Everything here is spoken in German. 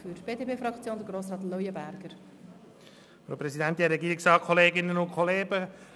Zuerst hat Grossrat Leuenberger für die BDP-Fraktion das Wort.